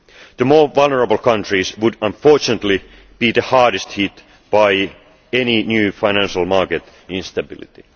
The more vulnerable countries would unfortunately be the hardest hit by any new financial market instability.